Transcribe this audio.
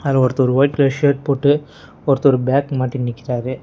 அதுல ஒருத்தரு ஒரு ஒயிட் கலர் ஷர்ட் போட்டு ஒருத்தர் பேக் மாட்டினு நிக்கிறாரு.